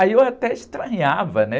Aí eu até estranhava, né?